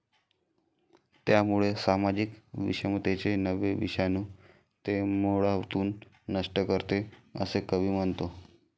त्यामुळे सामाजिक विषमतेचे नवे विषाणू ते मुळातून नष्ट करते, असे कवी म्हणतो